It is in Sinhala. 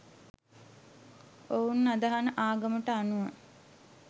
ඔවුන් අදහන ආගමට අනුව